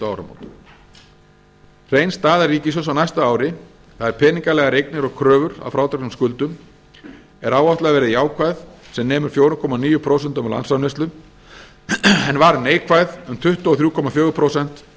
áramót hrein staða ríkissjóðs á næsta ári það er peningalegar eignir og kröfur að frádregnum skuldum er áætluð að verði jákvæð sem nemur fjóra komma níu prósent af landsframleiðslu en var neikvæð um tuttugu og þrjú komma fjögur prósent árið nítján hundruð